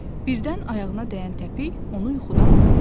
Birdən ayağına dəyən təpik onu yuxudan oyatdı.